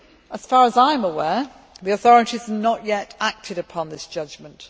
As far as I am aware, the authorities have not yet acted upon this judgment.